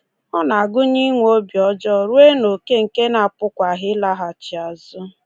Ọ na-agụnye inwe obi ọjọọ ruo n’oke nke na a pụkwaghị ịlaghachi azụ.